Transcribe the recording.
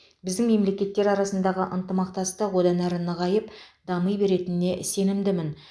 біздің мемлекеттер арасындағы ынтымақтастық одан әрі нығайып дами беретініне сенімдімін